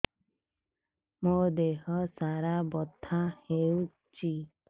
ମୋ ଦିହସାରା ବଥା ହଉଚି